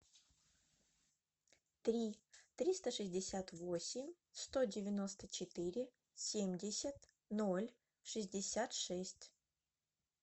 три триста шестьдесят восемь сто девяносто четыре семьдесят ноль шестьдесят шесть